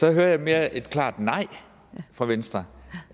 jeg hører mere et klart nej fra venstre